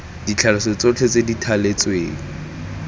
ditlhaloso tsotlhe tse di thaletsweng